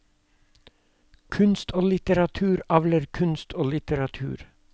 Kunst og litteratur avler kunst og litteratur.